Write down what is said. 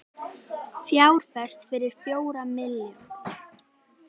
Fjárfest fyrir fjóra milljarða